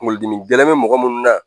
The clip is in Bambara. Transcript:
KunKolodimi gɛlɛn me mɔgɔ munnu na